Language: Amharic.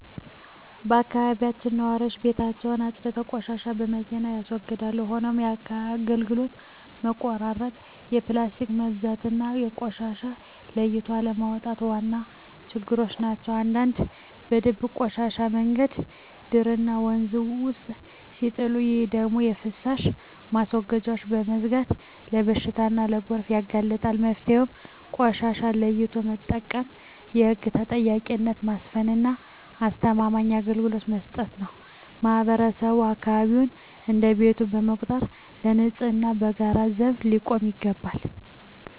በአካባቢያችን ነዋሪዎች ቤታቸውን አፅድተው ቆሻሻን በመኪና ያስወግዳሉ። ሆኖም የአገልግሎት መቆራረጥ፣ የፕላስቲክ መብዛትና ቆሻሻን ለይቶ አለማስቀመጥ ዋና ችግሮች ናቸው። አንዳንዶች በድብቅ ቆሻሻን መንገድ ዳርና ወንዝ ውስጥ ሲጥሉ፣ ይህ ደግሞ የፍሳሽ ማስወገጃዎችን በመዝጋት ለበሽታና ለጎርፍ ያጋልጣል። መፍትሄው ቆሻሻን ለይቶ መጠቀም፣ የህግ ተጠያቂነትን ማስፈንና አስተማማኝ አገልግሎት መስጠት ነው። ማህበረሰቡም አካባቢውን እንደ ቤቱ በመቁጠር ለንፅህናው በጋራ ዘብ ሊቆም ይገባል።